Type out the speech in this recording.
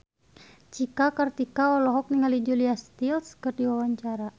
Cika Kartika olohok ningali Julia Stiles keur diwawancara